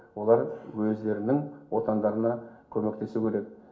олар өздерінің отандарына көмектесу керек